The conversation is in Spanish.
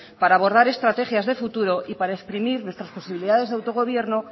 para abordar estrategias de futuro y para exprimir nuestras posibilidades de autogobierno